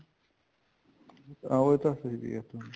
ਉਹੀ ਤਾਂ ਹੈਜੀ